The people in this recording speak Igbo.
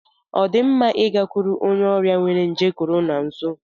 Ọ dị mma ịgakwuru onye ọrịa nwere nje Corona nso?